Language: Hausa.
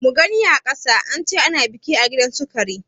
Mugani a ƙasa, ance ana biki a gidansu kare.